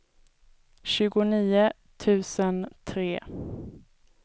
tjugonio tusen tre